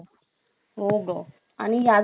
आणि याचबरोबर जर बघितला